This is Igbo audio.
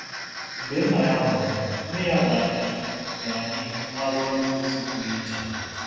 Mgbe nna ya nwụrụ, nne ya gara n’ihu gara n’ihu n’ọrụ onye ozi pụrụ iche.